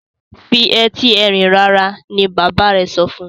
fi Ẹti Ẹrin rara! ní bàbá rẹ sọfún.